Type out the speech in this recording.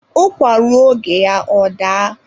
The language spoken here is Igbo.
Ụkwa ruo oga ya ọ daa.